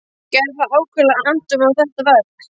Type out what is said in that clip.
Gerði var ákaflega annt um þetta verk.